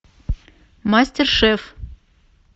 мастер шеф